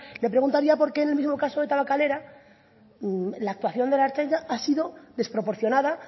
le preguntaría por qué en el mismo caso de tabakalera la actuación de la ertzaintza ha sido desproporcionada